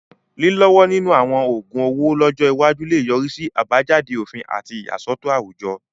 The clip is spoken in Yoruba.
Lílọ́wọ́ nínú àwọn oògun owó lọ́jọ́ iwájú lè yọrí sí àbájáde òfin àti ìyàsọ́tọ̀ àwùjọ.